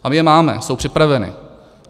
A my je máme, jsou připraveny.